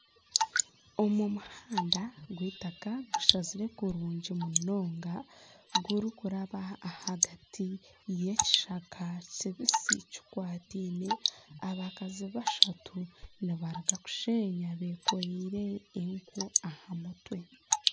Omu muhanda gw'eitaka gushazire kurungi munonga, gurikuraba ahagati y'ekishaka kibisi kikwataine. Abakazi bashatu nibaruga kusheenya bekoreire enku aha mutwe.